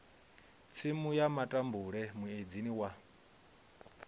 tsimu ya matambule muedzini wa